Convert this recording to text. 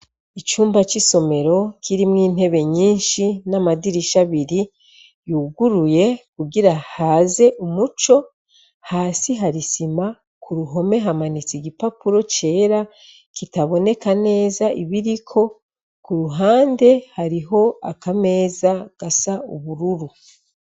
Icumba cisomero kirimwo intebe nyinshi namadirisha abiri yuguruye kugira haze umuco hasi hari isima kuruhome hamanitse igipapuro cera kitaboneka neza ibiriko kuruhande hariho akameza gasa ubururu